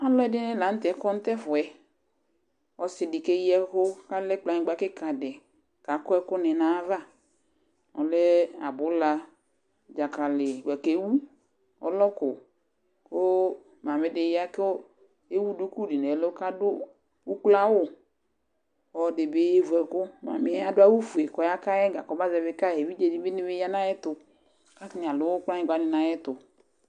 Alʋɛdɩnɩ la nʋ tɛ kɔ nʋ tʋ ɛfʋ yɛ Ɔsɩ dɩ keyi ɛkʋ kʋ alɛ kplɔanyɩgba kɩka dɩ kʋ akɔ ɛkʋnɩ nʋ ayava, ɔlɛ abʋla, dzakalɩ bʋa kʋ ewu, ɔlɔkʋ kʋ mamɩ dɩ ya kʋ ewu duku dɩ nʋ ɛlʋ kʋ adʋ ukloawʋ, ɔlɔdɩ bɩ yevu ɛkʋ Mamɩ yɛ adʋ awʋfue kʋ ɔyaka yɩ ɛga kɔbazɛvɩ ka yɩ, evidzenɩ dɩ bɩ ya nʋ ayɛtʋ kʋ atanɩ adʋ kplɔnyɩgba dɩ nʋ ayɛtʋ